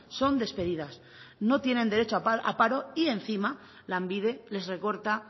son despedidas no tienen derecho a paro y encima lanbide les recorta